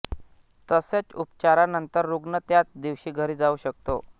तसेच उपचारा नंतर रुग्ण त्याच दिवशी घरी जाऊ शकतो